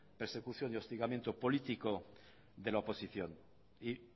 persecución y hostigamiento político de la oposición y